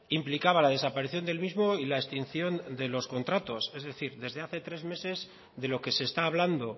implicaba la desaparición del mismo y la extinción de los contratos es decir desde hace tres meses de lo que se está hablando